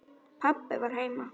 Pabbi var heima.